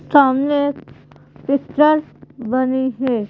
सामने एक पिक्चर बनी है।